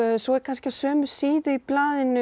svo er kannski á sömu síðu í blaðinu